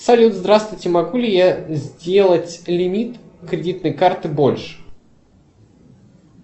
салют здравствуйте могу ли я сделать лимит кредитной карты больше